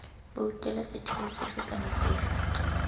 boutela setheo sefe kana sefe